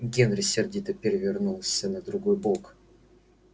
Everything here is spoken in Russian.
генри сердито перевернулся на другой бок